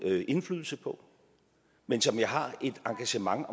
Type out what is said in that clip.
indflydelse på men som jeg har et engagement